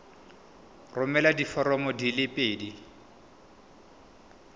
romela diforomo di le pedi